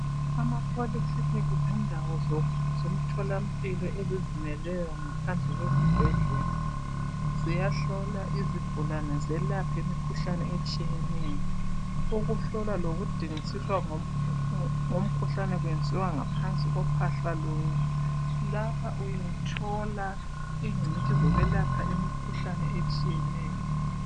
Ama Poly clinic zindawo zomthola mpilo ezizimele zodwa. Ziyahlola izigulane zelaphe imikhuhlane etshiyeneyo. Ukuhlola lokudingisisa ngumkhuhlane kwenziwa ngaphansi kophahla lunye. Lapha uyathola ingcitshi zokwelapha imikhuhlane etshiyeneyo.